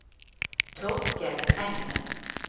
Torkel Engen